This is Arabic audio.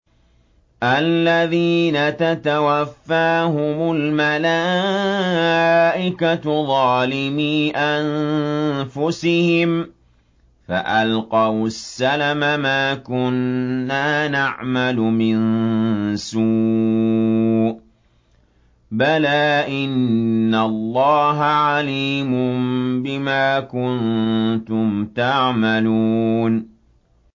الَّذِينَ تَتَوَفَّاهُمُ الْمَلَائِكَةُ ظَالِمِي أَنفُسِهِمْ ۖ فَأَلْقَوُا السَّلَمَ مَا كُنَّا نَعْمَلُ مِن سُوءٍ ۚ بَلَىٰ إِنَّ اللَّهَ عَلِيمٌ بِمَا كُنتُمْ تَعْمَلُونَ